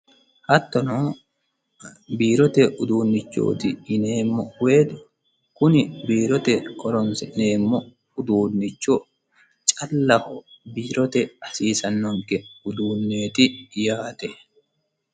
Hattono biirote uduunchoti yineemmo woyte kuni biirote horonsi'neemmo uduuncho callaho biirote hasiisanonke uduuneti yaate.